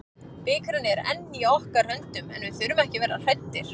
Bikarinn er enn í okkar höndum, við þurfum ekki að vera hræddir.